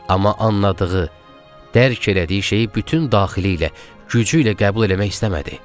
Amma anladığı, dərk elədiyi şeyi bütün daxili ilə, gücü ilə qəbul eləmək istəmədi.